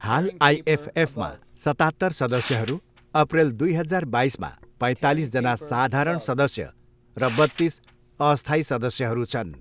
हाल आइएफएफमा सतात्तर सदस्यहरू, अप्रिल दुई हजार बाइसमा पैतालिस जना साधारण सदस्य र बत्तिस अस्थायी सदस्यहरू छन्।